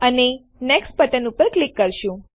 અને next button ઉપર click કરીશું